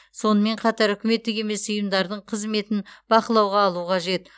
сонымен қатар үкіметтік емес ұйымдардың қызметін бақылауға алу қажет